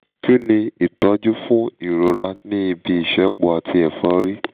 kí ni ìtọ́jú fún ìrọra ní ibi ìṣẹ́po àti èfọ́rí?